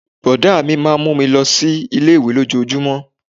Brọ̀dá mi máà ń mú mi lọ sí ilé-ìwé lójojúmó